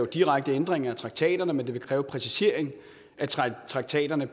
direkte ændringer af traktaterne men det ville kræve en præcisering af traktaterne